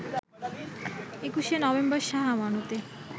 ২১ November শাহ আমানতে